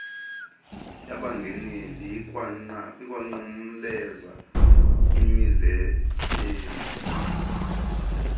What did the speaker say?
yabangeneleli ikwanqumleza imizebenzi